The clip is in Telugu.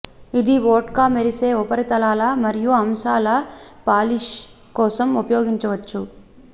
ఇది వోడ్కా మెరిసే ఉపరితలాలు మరియు అంశాలు పాలిష్ కోసం ఉపయోగించవచ్చు